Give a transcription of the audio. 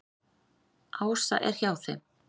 Ása er hjá þeim.